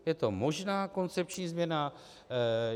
Je to možná koncepční změna.